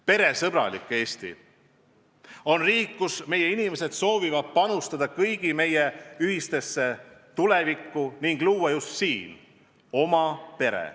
Peresõbralik Eesti on riik, kus meie inimesed soovivad panustada kõigi meie ühisesse tulevikku ning luua just siin oma pere.